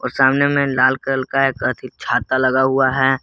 और सामने में लाल कलर का एक अथि छाता लगा हुआ है।